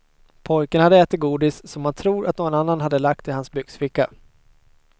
Pojken hade ätit godis som han tror att någon annan lagt i hans byxficka.